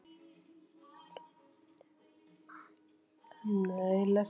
Vildi makker kannski LAUF?